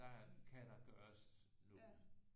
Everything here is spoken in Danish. Der kan der gøres noget